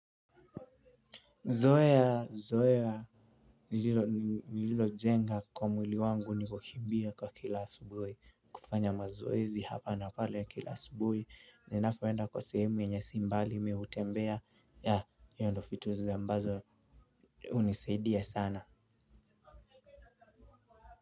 Zoea zoea nililojenga kwa mwili wangu ni kukimbia kwa kila asubuhi kufanya mazoezi hapa na pale kila asubuhi ninapoenda kwa sehemu yenye sio mbali mimi utembea ya hio ndio vitu ambazo unisaidia sana.